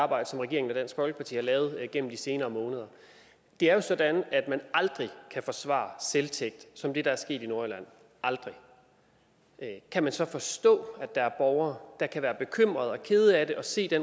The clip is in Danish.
arbejde som regeringen og dansk folkeparti har lavet gennem de senere måneder det er jo sådan at man aldrig kan forsvare selvtægt som det der er sket i nordjylland aldrig kan man så forstå at der er borgere der kan være bekymrede over og kede af at se det